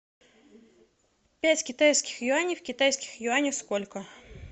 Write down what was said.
пять китайских юаней в китайских юанях сколько